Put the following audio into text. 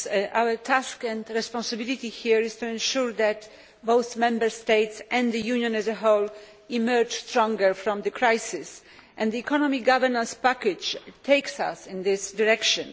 Mr President, our task and responsibility here is to ensure that both Member States and the Union as a whole emerge stronger from the crisis, and the economic governance package takes us in this direction.